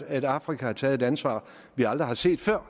at afrika har taget et ansvar vi aldrig har set før og